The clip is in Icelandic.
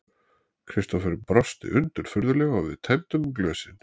Kristófer brosti undirfurðulega og við tæmdum glösin.